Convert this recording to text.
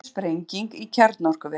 Önnur sprenging í kjarnorkuveri